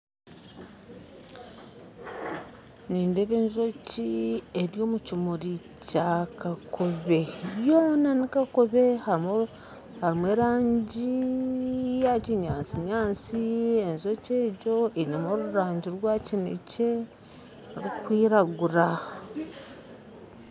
Nindeeba enjoki eri omu kimuri Kya kakobe byoona ni kakobe harumu erangi ya kinyantsinyantsi enjoki egyo einemu orurangi rwa kinekye rukwiragura.